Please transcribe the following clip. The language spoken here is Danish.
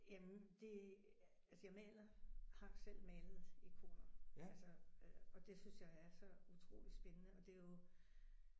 Jamen det altså jeg maler. Har selv malet ikoner altså øh og det synes jeg er så utrolig spændende og det er jo